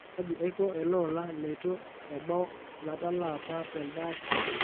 kaji aiko ele ola leitu embau latalaa apa telde apa